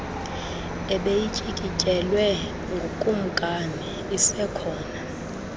ebeyityikityelwe ngukumkani isekhona